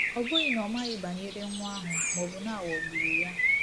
Ọ bụghị na ọ maghị banyere nwa ahụ maọbụ na a ghọgburu ya.